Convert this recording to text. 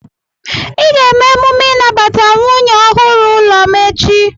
Ị ga-eme emume inabata nwunye ọhụrụ n'ụlọ m echi!